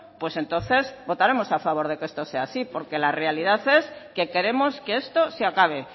pues entonces votaremos a favor de que esto sea así porque la realidad es que queremos que esto se acabe